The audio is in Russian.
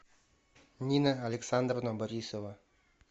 нина александровна борисова